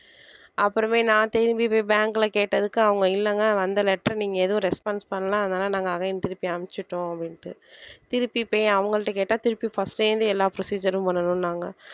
அப்புறமே நான் திரும்பி போய் bank ல கேட்டதுக்கு அவங்க இல்லைங்க வந்த letter நீங்க எதுவும் response பண்ணல அதனால நாங்க அதையும் திருப்பி அனுப்பிச்சிட்டோம் அப்படின்ட்டு திருப்பி போய் அவங்கள்ட்ட கேட்டா திருப்பி first ல இருந்து எல்லா procedure ம் பண்ணணும்னாங்க